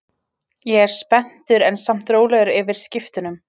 Ég er spenntur en samt rólegur yfir skiptunum.